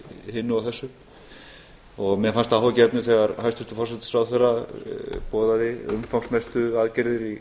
hinu og þessu og mér fannst að gefnu þegar hæstvirtur forsætisráðherra boðaði umfangsmiklar aðgerðir í